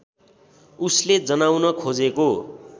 उसले जनाउन खोजेको